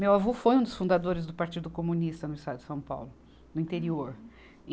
Meu avô foi um dos fundadores do Partido Comunista no estado de São Paulo, no interior.